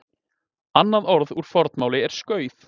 annað orð úr fornmáli er skauð